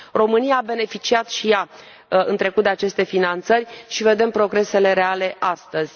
România a beneficiat și ea, în trecut, de aceste finanțări și vedem progresele reale astăzi.